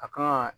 A kan ka